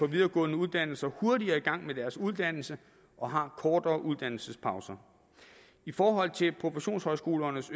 videregående uddannelser hurtigere i gang med deres uddannelse og har kortere uddannelsespause i forhold til professionshøjskolernes